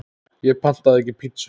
Ég pantaði ekki pítsu